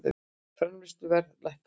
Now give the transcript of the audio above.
Framleiðsluverð lækkaði